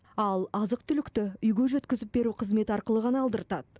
ал азық түлікті үйге жеткізіп беру қызметі арқылы ғана алдыртад